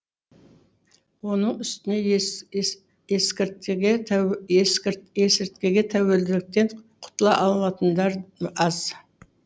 оның үстіне есірткіге тәуелділіктен құтыла алатындар аз